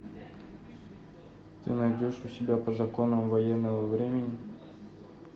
ты найдешь у себя по законам военного времени